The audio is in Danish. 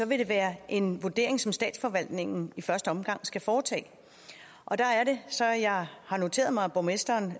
vil det være en vurdering som statsforvaltningen i første omgang skal foretage der er det så jeg har noteret mig at borgmesteren